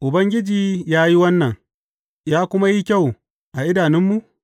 Ubangiji ya yi wannan, ya kuma yi kyau a idanunmu’?